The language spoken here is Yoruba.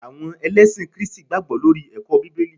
àwọn elesin kristi gbagbo lori eko bibeli